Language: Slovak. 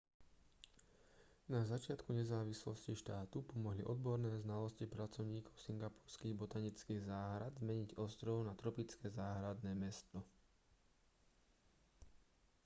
na začiatku nezávislosti štátu pomohli odborné znalosti pracovníkov singapurských botanických záhrad zmeniť ostrov na tropické záhradné mesto